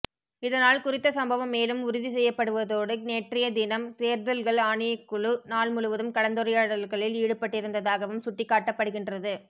இதனால் குறித்த சம்பவம் மேலும் உறுதி செய்யப்படுவதோடு தேற்றைய தினம் தேர்தல்கள் ஆணைக்குழு நாள் முழுவதும் கலந்துரையாடல்களில் ஈடுபட்டிருந்த்தாகவும் சுட்டிக்காட்டப்படுகின்றது